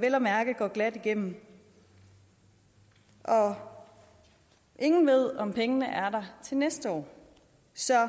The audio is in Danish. vel at mærke går glat igennem og ingen ved om pengene er der til næste år så